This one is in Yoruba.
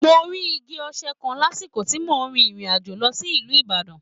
Mo rí igi oṣẹ̀ kan lásìkò tí mo rin ìrìn àjò lọ sí ìlú Ìbàdàn.